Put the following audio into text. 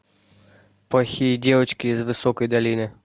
плохие девочки из высокой долины